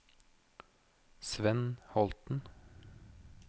Svend Holten